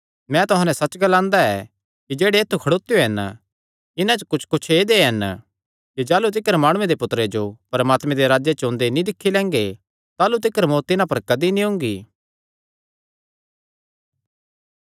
मैं तुहां नैं सच्च ग्लांदा ऐ कि जेह्ड़े ऐत्थु खड़ोत्यो हन इन्हां च कुच्छकुच्छ ऐदेय हन कि जाह़लू तिकर माणुये दे पुत्तरे जो परमात्मे दे राज्जे च ओंदे नीं दिक्खी लैंगे ताह़लू तिकर मौत्त तिन्हां पर कदी नीं ओंगी